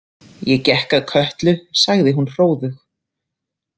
Ég gekk að Kötlu, sagði hún hróðug.